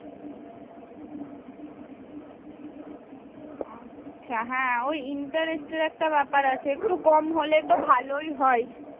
আচ্ছা। হ্যাঁ ওই interest এর একটা ব্যাপার আছে। একটু কম হলে তো ভালোই হয়।